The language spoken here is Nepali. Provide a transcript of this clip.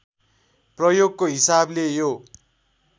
प्रयोगको हिसाबले यो